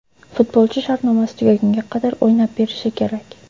Futbolchi shartnomasi tugagunga qadar o‘ynab berishi kerak.